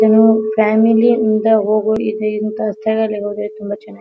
ಏನೋ ಫ್ಯಾಮಿಲಿ ಇಂದ ಹೋಗು ಇಂಥ ಸ್ಥಳಗಳಿಗೆ ಹೋದ್ರೆ ತುಂಬಾ ಚೆನ್ನಾಗಿ --